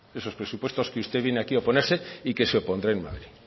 esos presupuestos que usted viene aquí a oponerse y que se opondrá en madrid